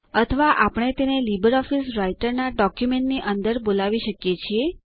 અથવા આપણે તેને લીબરઓફીસ રાઈટરના ડોક્યુમેન્ટની અંદરથી બોલાવી શકીએ છીએ